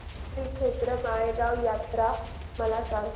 श्रीक्षेत्र माळेगाव यात्रा मला सांग